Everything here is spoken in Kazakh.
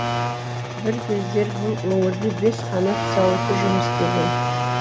бір кездер бұл өңірде бес қанат зауыты жұмыс істеген